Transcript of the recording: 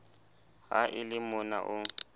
ha e le mona o